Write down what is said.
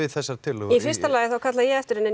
þessa tillögu í fyrsta lagi kallaði ég eftir henni en